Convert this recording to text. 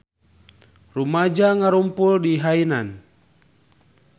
Rumaja ngarumpul di Hainan